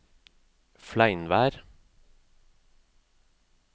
Fleinvær